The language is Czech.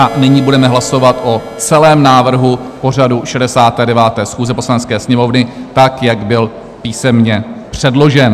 A nyní budeme hlasovat o celém návrhu pořadu 69. schůze Poslanecké sněmovny tak, jak byl písemně předložen.